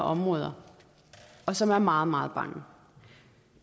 områder og som er meget meget bange